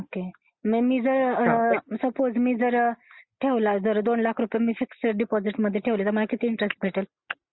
Okay suppose मी जर ठेवला मी जर दोन लाख रुपये फिक्स्ड डिपॉझिट मध्ये ठेवले तर मला किती इंट्रेस्ट भेटेल?